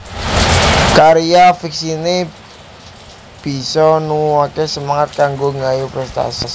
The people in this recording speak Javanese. Karya fiksiné bisa nuwuhaké semangat kanggo nggayuh prèstasi